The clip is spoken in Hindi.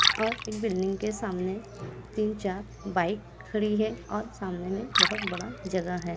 और एक बिल्डिंग के सामने तीन-चार बाइक खड़ी है और सामने में बहुत बड़ा जगह है।